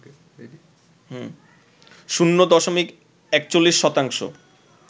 শূন্য দশমিক ৪১ শতাংশ